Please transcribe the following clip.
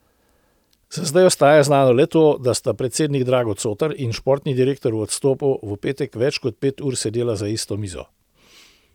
Za zdaj ostaja znano le to, da sta predsednik Drago Cotar in športni direktor v odstopu v petek več kot pet ur sedela za isto mizo.